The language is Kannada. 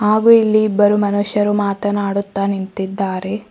ಹಾಗೂ ಇಲ್ಲಿ ಇಬ್ಬರು ಮನುಷ್ಯರು ಮಾತನಾಡುತ್ತಾ ನಿಂತಿದ್ದಾರೆ.